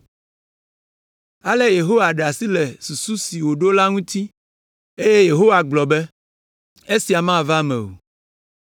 Ale Yehowa ɖe asi le susu si wòɖo la ŋuti. Eye Yehowa gblɔ be, “Esia mava eme o.”